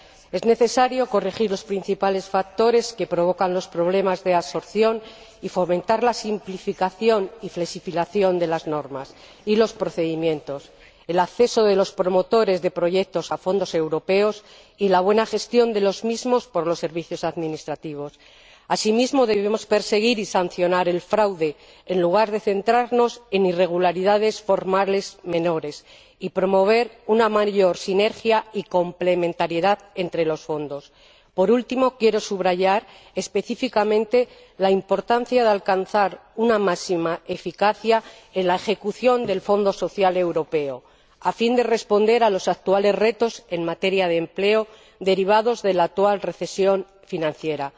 Es necesario corregir los principales factores que provocan los problemas de absorción, y fomentar la simplificación y flexibilización de las normas y los procedimientos, el acceso de los promotores de proyectos a fondos europeos y la buena gestión de los mismos por los servicios administrativos. Asimismo, deberíamos perseguir y sancionar el fraude en lugar de centrarnos en irregularidades formales menores y promover una mayor sinergia y complementariedad entre los fondos. Por último, quiero subrayar específicamente la importancia de alcanzar la máxima eficacia en la ejecución del Fondo Social Europeo, a fin de responder a los actuales retos en materia de empleo derivados de la actual recesión financiera.